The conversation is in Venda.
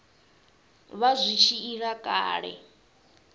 vha zwi tshi ila kale